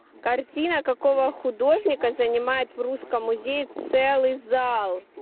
картина какого художника занимает в русском музее целый зал